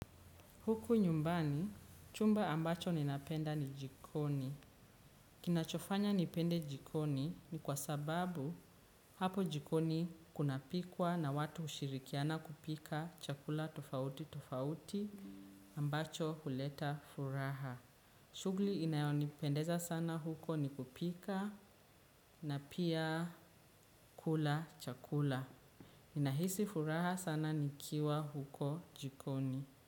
Huku nyumbani, chumba ambacho ninapenda ni jikoni. Kinachofanya nipende jikoni ni kwa sababu hapo jikoni kunapikwa na watu hushirikiana kupika chakula tofauti tofauti ambacho huleta furaha. Shugli inayo nipendeza sana huko ni kupika na pia kula chakula. Inahisi furaha sana nikiwa huko jikoni.